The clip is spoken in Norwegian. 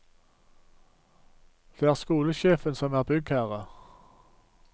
Det er skolesjefen som er byggherre.